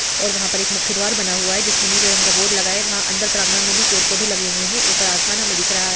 और वहाँ पर एक मुख्य द्वार बना हुआ है जिस में नीले रंग का बोर्ड लगा है वहाँ अंदर प्रांगण में भी पेड़ पोधे लगे हुए है ऊपर आसमान हमें दिख रहा है।